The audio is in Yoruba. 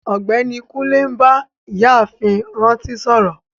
Ọgbẹni Kùnlé n bá Ìyààfin Rántí sọ̀rọ.